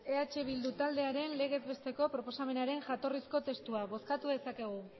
eh bildu taldearen legezbesteko proposamenaren jatorrizko testua bozkatu dezakegu